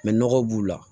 nɔgɔ b'u la